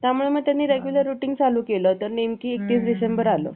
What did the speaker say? त्यामुळे मग त्यांनी regular routine चालू केलं तर नेमकं एकतीस डिसेंबर आल